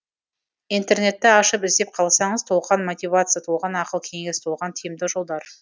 интернетті ашып іздеп қалсаңыз толған мотивация толған ақыл кеңес толған тиімді жолдар